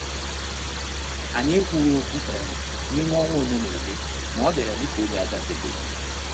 Anyị ekwughị okwu um n'ime ọnwa ole na ole, ma obiara dị ka oge agafebeghị.